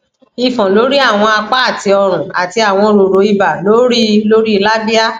ifon lori awọn apa ati ọrun ati awọn roro iba lori lori labia